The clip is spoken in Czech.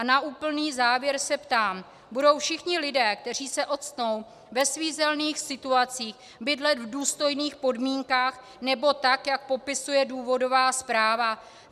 A na úplný závěr se ptám: Budou všichni lidé, kteří se octnou ve svízelných situacích, bydlet v důstojných podmínkách nebo tak, jak popisuje důvodová zpráva?